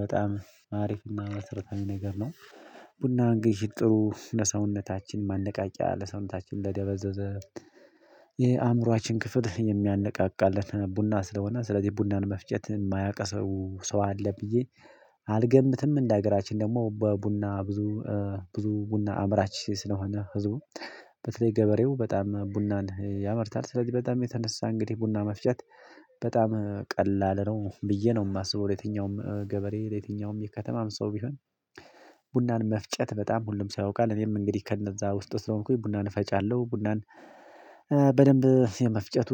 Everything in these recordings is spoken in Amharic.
በጣም አሪፍና መሰረታዊ ነገር ነው። ቡናን እንግዲህ ጥሩ ለሰውነታችን ማነቃቂያ ለሰውነታችን ለደበዘዘ የአእምሮአችን ክፍል የሚያነቃቃልን ቡና ስለሆነ ስለዚህ ቡናን መፍጨት የማያቅ ሰው ሰው አለ ብዬ አልገምትም። እንደ ሀገራችን ደግሞ በቡና ብዙ ብዙ ቡና አምራች ስለሆነ ህዝቡ በተለይ ገበሬው በጣም ቡናን ያመርታል ስለዚህ በጣም የተነሳ እንግዲህ ቡና መፍጨት በጣም ቀላል ነው ብዬ ነው የማስበው። የትኛውም ገበሬ ለየትኛውም የከተማም ሰው ቢሆን ቡናን መፍጨት በጣም ሁሉም ሰው ያውቃል። እኔም እንግዲህ ከነዛ ውስጥ ስለሆንኩኝ ቡናን እፈጫለሁ ቡናን በደንብ የመፍጨቱ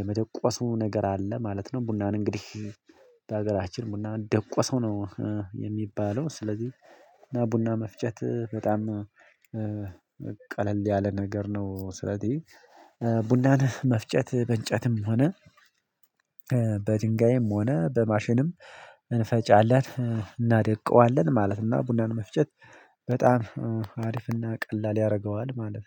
የመደቆሱ ነገር አለ ማለት ነው። ቡናን እንግዲህ በሀገራችን ቡናን ደቁሰው ነው የሚባለው። ስለዚህ እና ቡና መፍጨት በጣም ቀለል ያለ ነገር ነው። ስለዚህ ቡናን መፍጨት በእንጨትም ሆነ በድንጋይም ሆነ በማሽንም እንፈጫለን እናደቀዋለን ማለት እና ቡናን መፍጨት በጣም አሪፍና ቀላል ያደርገዋል ማለት